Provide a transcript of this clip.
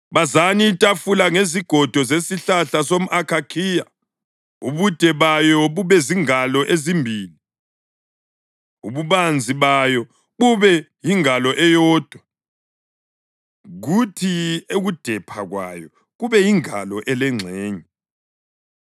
“Bazani itafula ngezigodo zesihlahla somʼakhakhiya, ubude bayo bube zingalo ezimbili, ububanzi bayo bube yingalo eyodwa, kuthi ukudepha kwayo kube yingalo elengxenye.